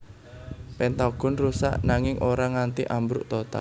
Pentagon rusak nanging ora nganti ambruk total